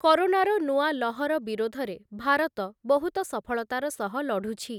କରୋନାର ନୂଆ ଲହର ବିରୋଧରେ ଭାରତ ବହୁତ ସଫଳତାର ସହ ଲଢ଼ୁଛି ।